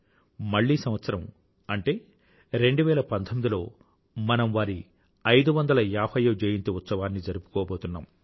మళ్ళీ సంవత్సరం అంటే 2019లో మనం వారి 550వ జయంతి ఉత్సవాన్ని జరుపుకోబోతున్నాం